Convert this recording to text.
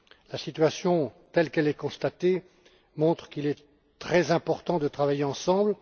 La situation, telle qu'elle est constatée, montre qu'il est très important de travailler ensemble.